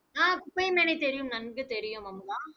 ஆஹ் குப்பைமேனி தெரியும் நன்கு தெரியும் அமுதா